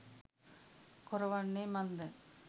කොර වන්නේ මන්ද?